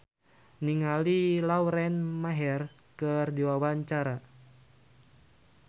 Sandy Sandoro olohok ningali Lauren Maher keur diwawancara